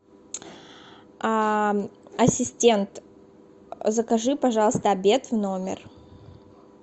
а ассистент закажи пожалуйста обед в номер